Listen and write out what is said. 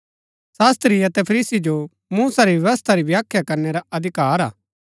शास्त्री अतै फरीसी जो मूसा री व्यवस्था री व्याख्या करनै रा अधिकार है